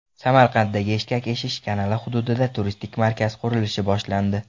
Samarqanddagi eshkak eshish kanali hududida turistik markaz qurilishi boshlandi .